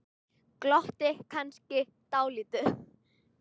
Glotti kannski dálítið.